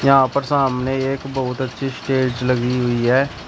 यहां पर सामने एक बहुत अच्छी स्टेज लगी हुई है।